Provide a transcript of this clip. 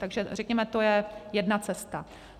Takže, řekněme, to je jedna cesta.